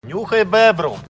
нюхай бебру